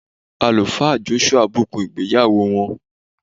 alufa Joshua bukun igbeyawo wọn.